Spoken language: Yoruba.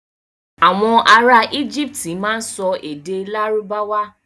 Àwon ará íjíptì má n so èdè lárúbáwà.